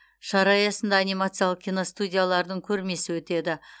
шара аясында анимациялық киностудиялардың көрмесі өтеді